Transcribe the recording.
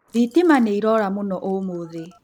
Thitima nĩirora mũno ũmũthĩ